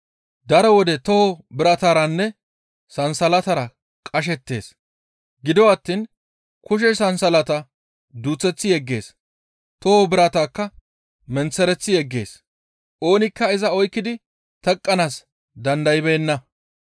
Daro wode toho birataranne sansalatara qashettees. Gido attiin kushe sansalata duuseththi yeggees; toho biratakka menththereththi yeggees; oonikka iza oykkidi teqqanaas dandaybeenna.